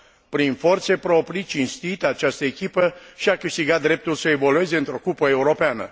Prin forțe proprii, cinstit, această echipă și a câștigat dreptul să evolueze într o cupă europeană.